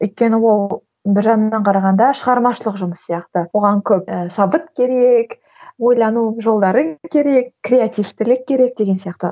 өйткені ол бір жағынан қарағанда шығармашылық жұмыс сияқты оған көп ы шабыт керек ойлану жолдары керек креативтілік керек деген сияқты